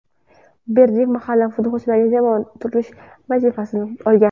Berdiyev mahalliy futbolchilardan jamoa tuzish vazifasini olgan.